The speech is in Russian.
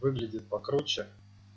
выглядит покруче